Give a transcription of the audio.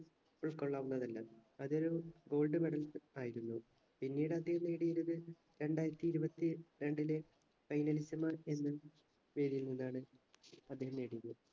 ഉൾക്കൊള്ളാവുന്നതല്ല അതൊരു gold medal ആയിരുന്നു പിന്നീട് അദ്ദേഹം നേടിയിരത് രണ്ടായിരത്തി ഇരുപത്തി രണ്ടിലെ finalist മാർ എന്ന് പേരുള്ളതാണ് അദ്ദേഹം നേടിയത്